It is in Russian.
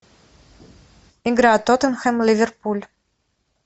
игра тоттенхэм ливерпуль